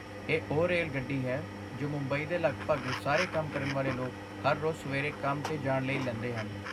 ਇਹ ਉਹ ਰੇਲਗੱਡੀ ਹੈ ਜੋ ਮੁੰਬਈ ਦੇ ਲਗਭਗ ਸਾਰੇ ਕੰਮ ਕਰਨ ਵਾਲੇ ਲੋਕ ਹਰ ਰੋਜ਼ ਸਵੇਰੇ ਕੰਮ 'ਤੇ ਜਾਣ ਲਈ ਲੈਂਦੇ ਹਨ।